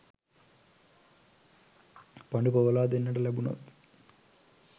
පඬු පොවලා දෙන්නට ලැබුනොත්